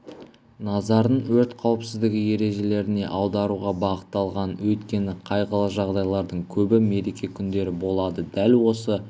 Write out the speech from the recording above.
назарын өрт қауіпсіздігі ережелеріне аударуға бағытталған өйткені қайғылы жағдайлардың көбі мереке күндері болады дәл осы